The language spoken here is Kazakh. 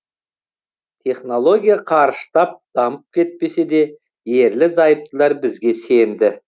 технология қарыштап дамып кетпесе де ерлі зайыптылар бізге сенді